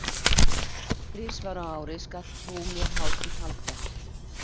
Þrisvar á ári skalt þú mér hátíð halda.